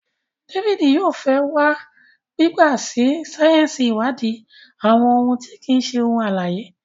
David fè yóò wa gbigba sí sáyẹnsì iwadi àwọn òun ti kii ṣe ohun alãye.